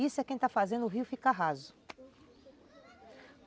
Isso é quem está fazendo o rio ficar raso.